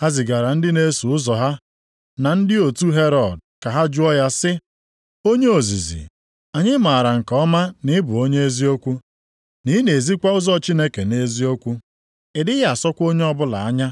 Ha zigara ndị na-eso ụzọ ha na ndị nʼotu Herọd ka ha jụọ ya sị, “Onye ozizi, anyị maara nke ọma na ị bụ onye eziokwu, na ị na-ezikwa ụzọ Chineke nʼeziokwu. Ị dịghị asọkwa onye ọbụla anya,